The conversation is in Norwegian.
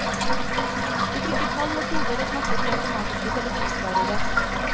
Vi trykker tall og koder og snakker til automatiske telefonsvarere.